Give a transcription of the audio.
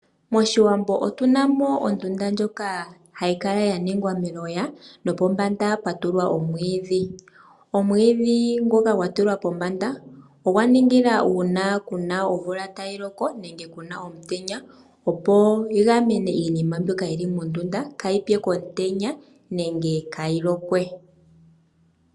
Moshiwambo otuna ondunda ndjoka hayi kala ya ningwa meloya nopombanda pwa tulwa omwiidhi. Omwiidhi ngoka gwa tulwa pombanda ogwa ningi la uuna kuna omvula tayi loko nenge kuma omutenya opo yi gamene iinima mbyoka yili mondunda kaayi tse komutenya nenge kaayilokwe.